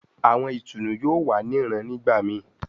Awọn itunu yoo wa ni rán nigbamii